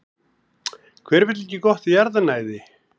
Hver vill ekki gott jarðnæði?